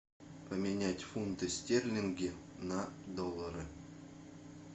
поменять фунты стерлинги на доллары